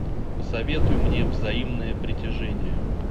посоветуй мне взаимное притяжение